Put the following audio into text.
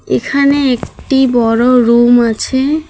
এখানে একটি বড় রুম আছে।